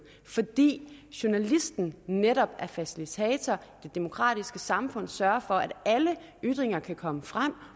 fordi journalisten netop var facilitator det demokratiske samfund sørger for at alle ytringer kan komme frem